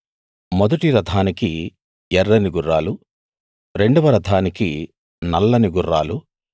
మొదటి రథానికి ఎర్రని గుర్రాలు రెండవ రథానికి నల్లని గుర్రాలు